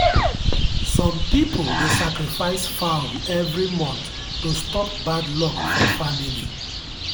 some people dey sacrifice fowl every month to stop bad luck for family.